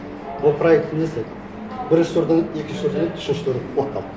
ол проекті не істеді бірінші турдан өтті екінші турдан өтті үшінші турда құлап қалды